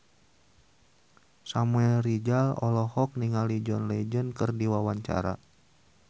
Samuel Rizal olohok ningali John Legend keur diwawancara